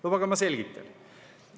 Lubage, ma selgitan.